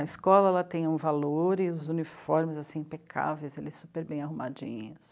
A escola tem um valor e os uniformes, assim, impecáveis, eles super bem arrumadinhos.